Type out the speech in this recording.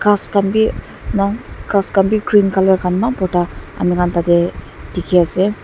ghas khan bi na ghas khan bi green colour khan eman borta amikhan tate dikhi ase.